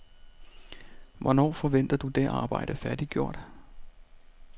Hvornår forventer du det arbejde færdiggjort?